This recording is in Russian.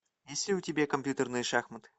есть ли у тебя компьютерные шахматы